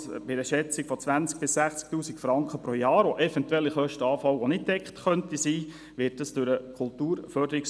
Man kann bei einer Schätzung von Kosten von 20 000–60 000 Franken pro Jahr ausgehen, die eventuell anfallen und nicht gedeckt sind.